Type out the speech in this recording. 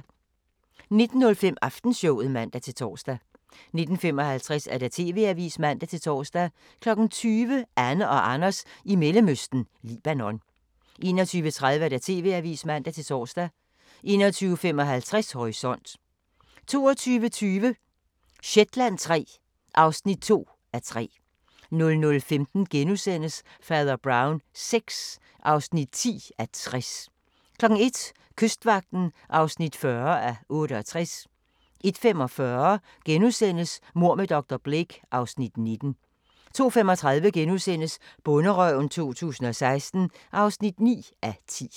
19:05: Aftenshowet (man-tor) 19:55: TV-avisen (man-tor) 20:00: Anne og Anders i Mellemøsten – Libanon 21:30: TV-avisen (man-tor) 21:55: Horisont 22:20: Shetland III (2:3) 00:15: Fader Brown VI (10:60)* 01:00: Kystvagten (40:68) 01:45: Mord med dr. Blake (Afs. 19)* 02:35: Bonderøven 2016 (9:10)*